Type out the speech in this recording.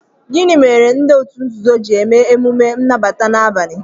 Gịnị mere ndị òtù nzuzo ji eme emume nnabata na abalị?